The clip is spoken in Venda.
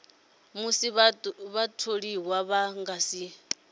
musi vhatholiwa vha nga si